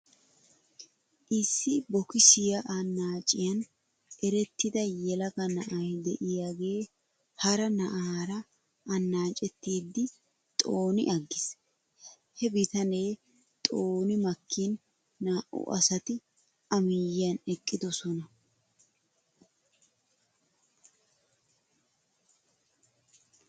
Issi bokisiyaa anaaciyan erettida yelaga na'ay de'iyaagee hara na'aara anaacettidi xoni agis. He bitanee xooni makkin naa'u asati a miyyiyan eqqidosona.